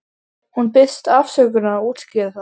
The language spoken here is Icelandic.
Hún biðst afsökunar og útskýrir það.